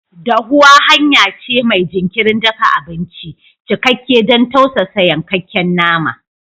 Dahuwa hanya ce mai jinkirin dafa abinci, cikakke don tausasa yankakken nama.